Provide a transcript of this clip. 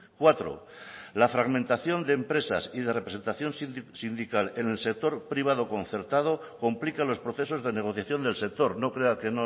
cuatro la fragmentación de empresas y de representación sindical en el sector privado concertado complica los procesos de negociación del sector no crea que